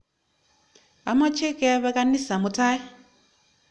Amache kepe kanisa mutai.